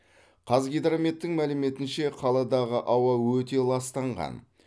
қазгидрометтің мәліметінше қаладағы ауа өте ластанған